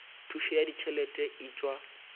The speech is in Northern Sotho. thušo ya ditšhelete e tšwa